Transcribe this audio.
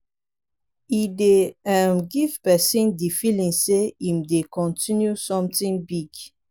e dey um give person di feeling sey im dey continue something big